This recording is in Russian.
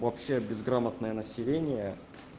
вообще безграмотное население